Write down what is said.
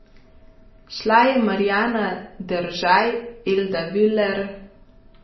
Šla je Marjana Deržaj, Elda Viler ...